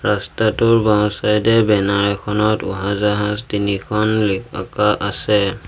ৰাস্তাটোৰ বাওঁচাইদে বেনাৰ এখনত উৰাজাহাজ তিনিখন লি অঁকা আছে।